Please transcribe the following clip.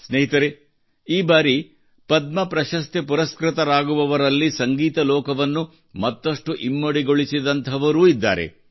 ಸ್ನೇಹಿತರೇ ಈ ಬಾರಿ ಪದ್ಮ ಪ್ರಶಸ್ತಿ ಪರಸ್ಕೃತರಾಗುವವರಲ್ಲಿ ಸಂಗೀತ ಲೋಕವನ್ನು ಮತ್ತಷ್ಟು ಸಮೃದ್ಧಗೊಳಿಸಿದಂಥವರೂ ಇದ್ದಾರೆ